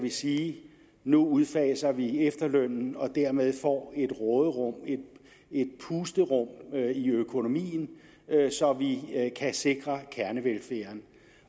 sige nu udfaser vi efterlønnen og dermed får vi et råderum et pusterum i økonomien så vi kan sikre kernevelfærden